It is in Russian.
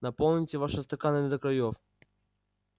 наполните ваши стаканы до краёв